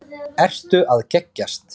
Ertu að geggjast?